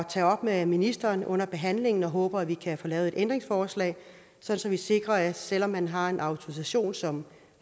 tage op med ministeren under behandlingen og jeg håber at vi kan få lavet et ændringsforslag så så vi sikrer at selv om man har en autorisation som